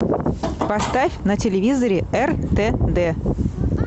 поставь на телевизоре ртд